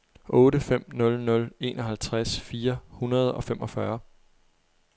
otte fem nul nul enoghalvtreds fire hundrede og femogfyrre